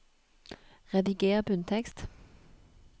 Rediger bunntekst